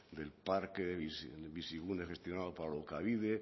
del parque bizigune gestionado para alokabide